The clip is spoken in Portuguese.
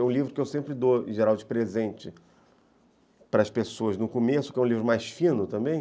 É um livro que eu sempre dou, em geral, de presente para as pessoas no começo, que é um livro mais fino também.